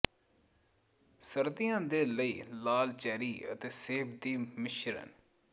ਸਰਦੀਆਂ ਦੇ ਲਈ ਲਾਲ ਚੈਰੀ ਅਤੇ ਸੇਬ ਦੀ ਮਿਸ਼ਰਣ